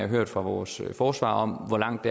hørt fra vores forsvar om hvor langt